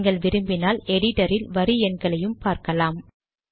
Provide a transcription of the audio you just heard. நீங்கள் விரும்பினால் எடிட்டரில் வரி எண்களையும் பார்க்கலாம்